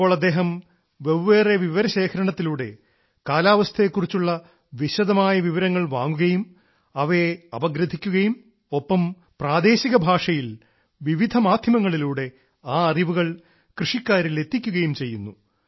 ഇപ്പോൾ അദ്ദേഹം വെവ്വേറെ വിവരശേഖരണത്തിലൂടെ കാലാവസ്ഥയെ കുറിച്ചുള്ള വിശദമായ വിവരങ്ങൾ വാങ്ങുകയും അവയെ അപഗ്രഥിക്കുകയും ഒപ്പം പ്രാദേശിക ഭാഷയിൽ വിവിധ മാധ്യമങ്ങളിലൂടെ ആ അറിവുകൾ കൃഷിക്കാരിൽ എത്തിക്കുകയും ചെയ്യുന്നു